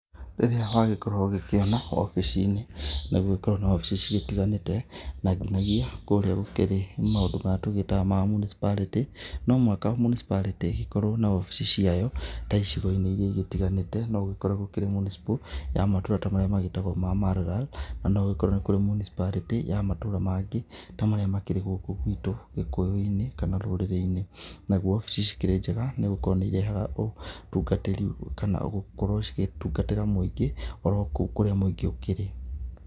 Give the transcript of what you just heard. Rĩrĩa wagĩkorwo ũgĩkĩona obici- ĩnĩ nĩ gũgĩkoragwo na obici cigĩtiganĩte, na nginagia kũrĩa gũkĩrĩ maũndũ marĩa tũgĩtaga ma municipality. No mũhaka municipality ĩgĩkorwo na obici ciayo ta icigo-inĩ igĩtiganite no gũkorwo gũkĩrĩ mũnicipal ya matũra marĩa magĩtagwo ma Malalal. Na no ũgĩkore nĩ kũrĩ mũnicipality ya matũra mangĩ ta marĩa makĩrĩ gũkũ gwitũ gĩkũyũ-inĩ kana rũrĩrĩ-inĩ. Naguo obici ici cikĩrĩ njega nĩ gũkorwo nĩ irehega ũtungatĩri kana gũkorwo cigĩtungatĩra mũingĩ orokũu kũrĩa mũingĩ ũkĩrĩ.